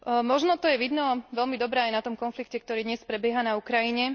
Možno to je veľmi dobre vidieť aj na tom konflikte, ktorý dnes prebieha na Ukrajine.